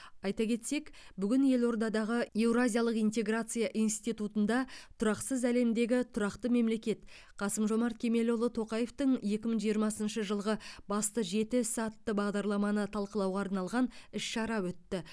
айта кетсек бүгін елордадағы еуразиялық интеграция институтында тұрақсыз әлемдегі тұрақты мемлекет қасым жомарт кемелұлы тоқаевтың екі мың жиырмасыншы жылғы басты жеті ісі атты бағдарламаны талқылауға арналған іс шара өтті